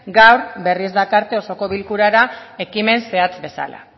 gaur berriz dakarte osoko bilkurara ekimen zehatz bezala